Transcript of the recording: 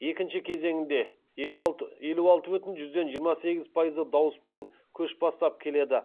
екінші кезеңінде елу алты бүтін жүзден жиырма сегіз пайызы дауыспен көш бастап келеді